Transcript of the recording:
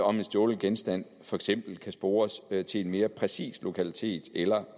om en stjålen genstand for eksempel kan spores til en mere præcis lokalitet eller